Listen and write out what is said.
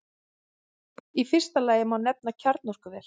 Í fyrsta lagi má nefna kjarnorkuver.